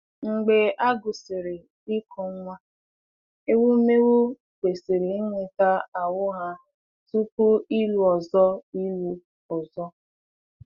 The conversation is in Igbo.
Mgbe a gwụsịrị ịkụ nwa, ewumewụ kwesịrị nweta ahụ́ ha tupu ịlụ ọzọ. ịlụ ọzọ.